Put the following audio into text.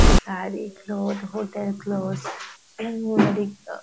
sari cloth hotel clothes same --